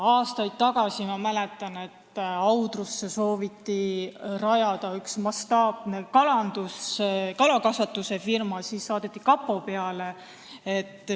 Aastaid tagasi, ma mäletan, sooviti Audrusse rajada mastaapset kalakasvatusfirmat, ja siis saadeti kapo peale.